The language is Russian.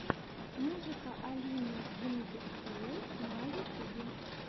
музыка алины гингертэйл на ютубе